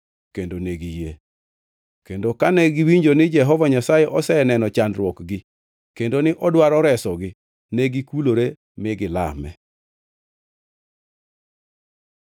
kendo ne giyie. Kendo kane giwinjo ni Jehova Nyasaye oseneno chandruokgi kendo ni odwaro resogi, negikulore mi gilame.